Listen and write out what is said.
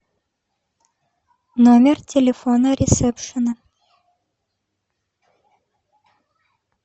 номер телефона ресепшена